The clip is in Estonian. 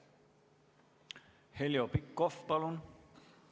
Heljo Pikhof, palun!